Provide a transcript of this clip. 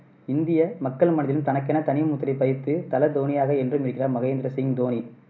இந்திய மக்கள் மனதிலும் தனக்கென தனி முத்திரை பதித்து தல தோனியாக என்றும் இருக்கிறார் மகேந்திர சிங் தோனி